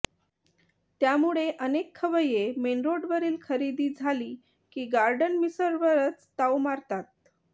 त्यामुळे अनेक खवय्ये मेनरोडवरील खरेदी झाली की गार्डन मिसळवरच ताव मारतात